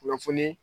Kunnafoni